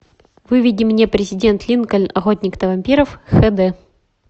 выведи мне президент линкольн охотник на вампиров хэ дэ